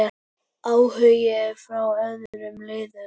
Áhugi frá öðrum liðum?